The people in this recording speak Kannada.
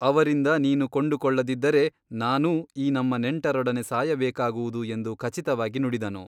ಅವರಿಂದ ನೀನು ಕೊಂಡುಕೊಳ್ಳದಿದ್ದರೆ ನಾನೂ ಈ ನಮ್ಮ ನೆಂಟರೊಡನೆ ಸಾಯಬೇಕಾಗುವುದು ಎಂದು ಖಚಿತವಾಗಿ ನುಡಿದನು.